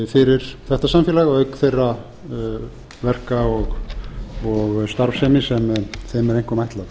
fyrir þetta samfélag auk þeirra verka og starfsemi sem þeim er einkum ætlað